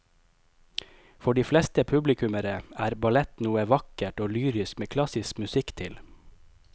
For de fleste publikummere er ballett noe vakkert og lyrisk med klassisk musikk til.